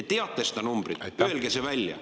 Te teate seda numbrit, öelge see välja.